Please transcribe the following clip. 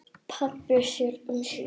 Pabbi sér um sína.